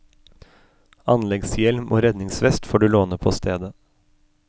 Anleggshjelm og redningsvest får du låne på stedet.